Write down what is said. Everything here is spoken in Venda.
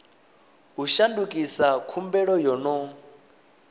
u shandukisa khumbelo yo no